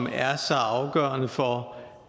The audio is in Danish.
er så afgørende for